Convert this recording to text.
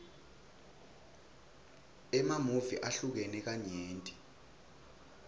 emamuvi ahlukene kanyenti